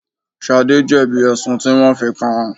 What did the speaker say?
Shade jẹ́ bí ẹ̀sùn tí wọn fi kàn án.